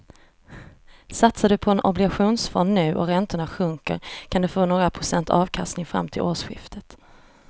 Satsar du på en obligationsfond nu och räntorna sjunker kan du få några procents avkastning fram till årsskiftet.